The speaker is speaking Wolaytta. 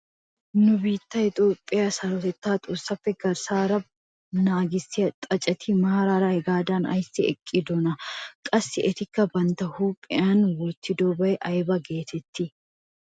Nu biittee Toophphee sarotettaa xoossappe garssa baggaara nagissiyaa xaaceti maarara hagaadan ayssi eqqidonaa? qassi etikka bantta huuphphiyaan wottidoogee aybaa getettii?